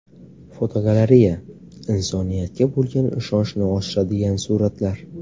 Fotogalereya: Insoniyatga bo‘lgan ishonchni oshiradigan suratlar.